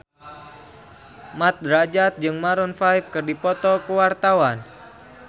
Mat Drajat jeung Maroon 5 keur dipoto ku wartawan